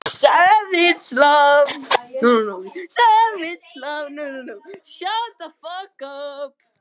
Hún stendur við gluggann, drúpir höfði, leikur siðprúða yngismær.